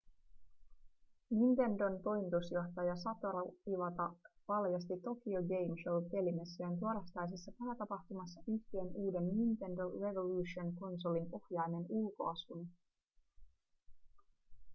nintendon toimitusjohtaja satoru iwata paljasti tokyo game show pelimessujen torstaisessa päätapahtumassa yhtiön uuden nintendo revolution konsolin ohjaimen ulkoasun